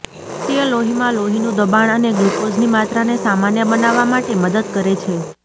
તે લોહીમાં લોહીનું દબાણ અને ગ્લુકોઝની માત્રાને સામાન્ય બનાવવા માટે મદદ કરે છે